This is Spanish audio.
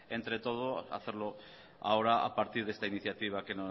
entre todos hacerlo ahora a partir de esta iniciativa que